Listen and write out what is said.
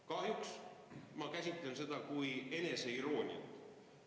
Kahjuks ma käsitlen seda kui eneseirooniat.